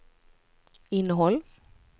innehåll